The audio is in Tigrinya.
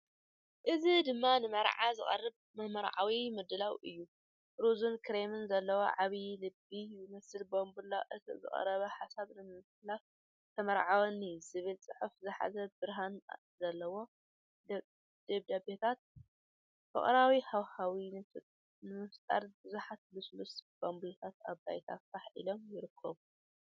እዚ ድማ ንመርዓ ዝቐረበ መምርዓዊ ምድላው እዩ። ሮዝን ክሬምን ዘለዎ ዓብዪ ልቢ ዝመስል ባምቡላ ነቲ ዝቐረበ ሓሳብ ንምምሕልላፍ "ተመርዓወኒ" ዚብል ጽሑፍ ዝሓዘ ብርሃን ዘለዎ ደብዳቤታት። ፍቕራዊ ሃዋህው ንምፍጣር ብዙሓት ልስሉስ ባምቡላታት ኣብ ባይታ ፋሕ ኢሎም ይርከቡ ።